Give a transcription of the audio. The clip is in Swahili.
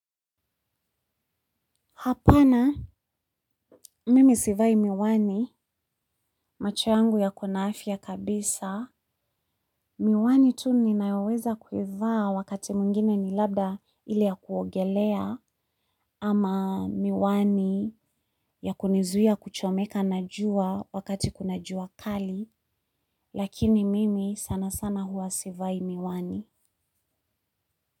Hapana, mimi sivai miwani, macho yangu yako na afya kabisa. Miwani tu ninayoweza kuivaa wakati mwingine ni labda ile ya kuogelea ama miwani ya kunizuia kuchomeka na jua wakati kuna jua kali. Lakini mimi sana sana hua sivai miwani.